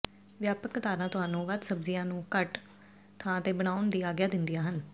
ਵਿਆਪਕ ਕਤਾਰਾਂ ਤੁਹਾਨੂੰ ਵੱਧ ਸਬਜ਼ੀਆਂ ਨੂੰ ਘੱਟ ਥਾਂ ਤੇ ਦਬਾਉਣ ਦੀ ਆਗਿਆ ਦਿੰਦੀਆਂ ਹਨ